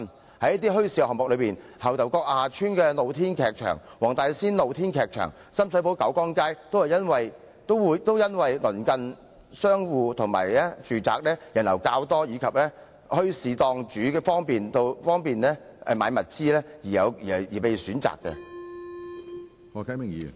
過往的一些墟市項目，例如牛頭角下邨的露天劇場、黃大仙的露天劇場、深水埗九江街等，也因為鄰近商戶及住宅，人流較多，而墟市檔主亦方便購買物資而被選擇。